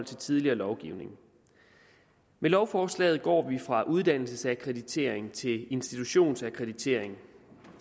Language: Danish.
tidligere lovgivning med lovforslaget går vi fra uddannelsesakkreditering til institutionsakkreditering